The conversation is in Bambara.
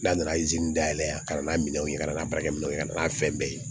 N'a nana dayɛlɛ a kana n'a minɛ kana baarakɛ minɛnw ye kana n'a fɛn bɛɛ ye